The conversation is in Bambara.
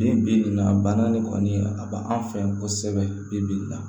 Bi bi in na a banna ne kɔni a b'an fɛ yan kosɛbɛ bi